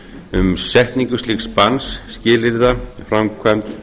um setningu slíks banns skilyrða framkvæmd